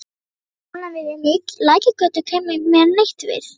Lærða skólann við Lækjargötu kæmi mér neitt við.